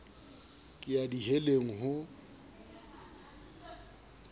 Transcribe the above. ke ya di heleng ho